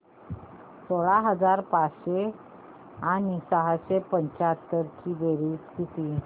सोळा हजार पाचशे आणि सहाशे पंच्याहत्तर ची बेरीज किती